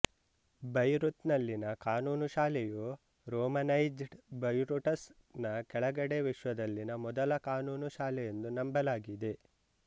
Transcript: Beirut ನಲ್ಲಿನ ಕಾನೂನು ಶಾಲೆಯು ರೋಮನೈಜ್ಡ್ ಬೆರೈಟುಸ್ ನ ಕೆಳಗಡೆ ವಿಶ್ವದಲ್ಲಿನ ಮೊದಲ ಕಾನೂನು ಶಾಲೆಯೆಂದು ನಂಬಲಾಗಿದೆ